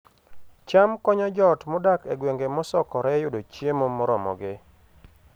cham konyo joot modak e gwenge mosokore yudo chiemo moromogi